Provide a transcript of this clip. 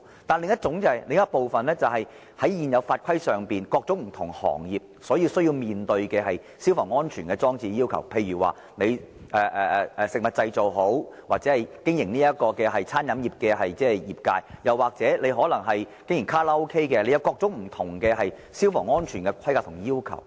但是，另一部分是在現行法規下，各種不同行業需要面對的消防安全要求，例如對食物製造或經營餐飲業的業界，甚或是經營卡拉 OK 的，都有各種不同的消防安全的規格和要求。